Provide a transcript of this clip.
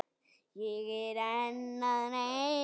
Ég er enn að reyna.